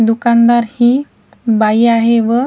दुकानदार ही बाई आहे व--